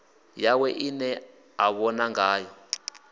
yawe ine a vhona ngayo